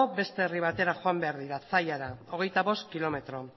beste herri batera joan behar dira zallara hogeita bost kilometro